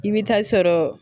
I bɛ taa sɔrɔ